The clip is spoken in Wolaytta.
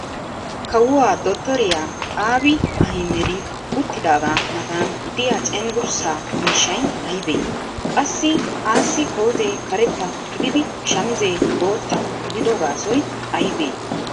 Kawuwaa dottoriyaa Aabiyi Ahimmedi uttidaagaa matan diya cengurssaa miishshay aybee? Qassi assi kootte karetta gididi shamizee bootta gididdo gaassoy aybee?